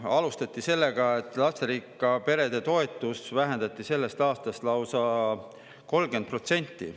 Alustati sellega, et lasterikka pere toetust vähendati sellest aastast lausa 30%.